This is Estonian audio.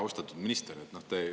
Austatud minister!